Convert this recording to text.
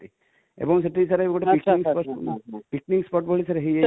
ଏବୁଁ ସେଠି sir ଗୋଟେ picnic spot ,picnic spot ଭଳି ହେଇ ଯାଇଛି